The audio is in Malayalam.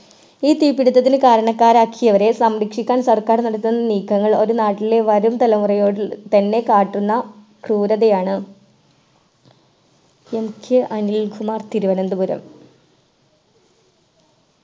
ഈ തീപിടിത്തത്തിന് കരണക്കാരാക്കിയവരെ സംരക്ഷിക്കാൻ സർക്കാർ നടത്തുന്ന നീക്കങ്ങൾ അത് നാട്ടിലെ വരും തലമുറയോട് തന്നെ കാട്ടുന്ന ക്രൂരതയാണ് LJ അനിൽ കുമാർ തിരുവനന്തപുരം